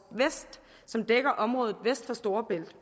vest som dækker området vest for storebælt